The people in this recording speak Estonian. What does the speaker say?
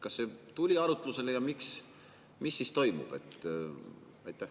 Kas see tuli arutlusele ja mis siis toimub?